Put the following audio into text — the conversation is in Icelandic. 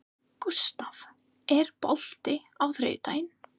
Gústaf, er bolti á þriðjudaginn?